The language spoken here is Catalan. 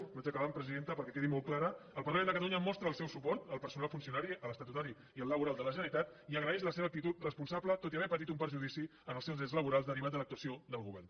vaig acabant presidenta perquè quedi molt clara el parlament de catalunya mostra el seu suport al personal funcionari a l’estatutari i al laboral de la generalitat i agraeix la seva actitud responsable tot i haver patit un perjudici en els seus drets laborals derivat de l’actuació del govern